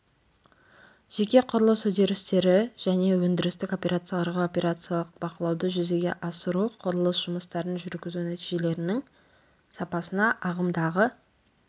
жеке құрылыс үдерістері және өндірістік операцияларға операциялық бақылауды жүзеге асыру құрылыс жұмыстарын жүргізу нәтижелерінің сапасына ағымдағы